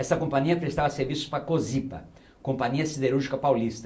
Essa companhia prestava Serviços para a cê ô sê i pê á, Companhia Siderúrgica Paulista